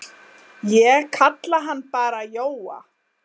Ég kalla hann bara Jóa.